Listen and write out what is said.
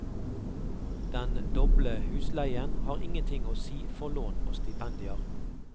Den doble husleien har ingenting å si for lån og stipendier.